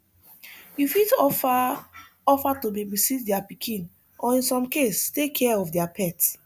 you fit offer offer to babysit their pikin or in some case take care of their pet